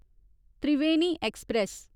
Triveni express